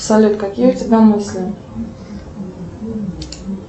салют какие у тебя мысли